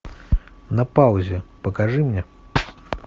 на паузе покажи мне